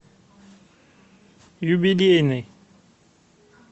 юбилейный